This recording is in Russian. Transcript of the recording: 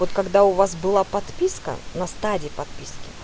вот когда у вас была подписка на стадии подписки